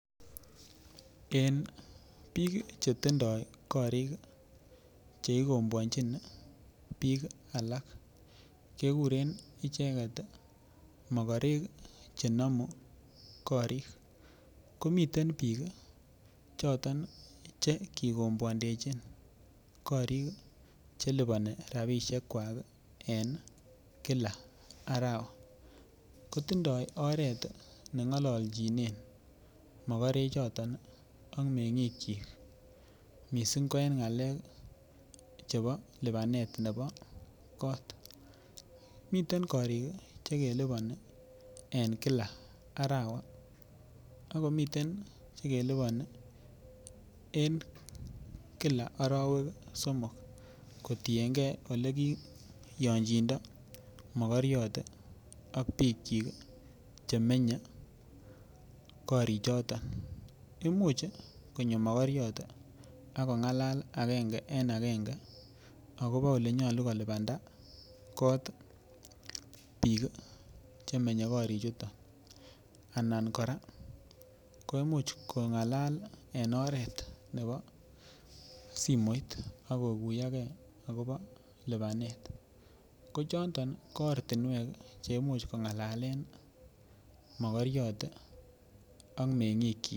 En biik chetindoi korik cheikombwonchin biik alak kekuren icheget mokorek chenomu korik komiten biik choton che kikombwandechin korik chelipani rabishek kwak en kilas arawa kotindoi oret neng'ololjinen mokorechoton ak meng'ik chi mising' ko en ng'alek chebo lipanet nebo kot miten korik chelipani en kila arawa akomiten chelipani en kila arowek somok kotingei ole ki yonjindo mokoriot ak biik chik chemenye korichoton imuch konyo mokoriot akong'alal agenge en agenge akobo ole nyolu kolipanda kot biik chemenye korichoto anan kora koimuch kong'alal en oret nebo simoit akokuiyogei akobo lipanet ko choton ko ortinwek cheimuch kong'alalen mokoriot ak meng'ik chi